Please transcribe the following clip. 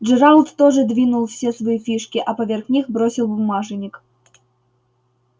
джералд тоже двинул все свои фишки а поверх них бросил бумажник